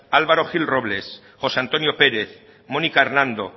álvaro gil robles josé antonio pérez monika hernando